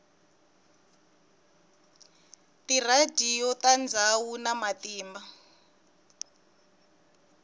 tiradiyo ta ndzhawu na matimba